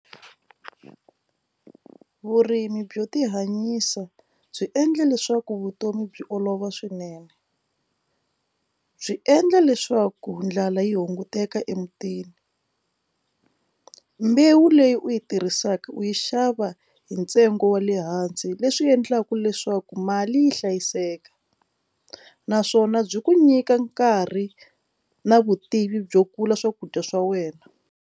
Vurimi byo tihanyisa byi endla leswaku vutomi byi olova swinene byi endla leswaku ndlala yi hunguteka emutini mbewu leyi u yi tirhisaka u yi xava hi ntsengo wa le hansi leswi endlaka leswaku mali yi hlayiseka naswona byi ku nyika nkarhi na vutivi byo kula swakudya swa wena.